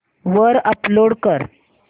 वर अपलोड कर